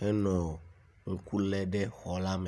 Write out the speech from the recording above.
henɔ ŋku le ɖe xa la me.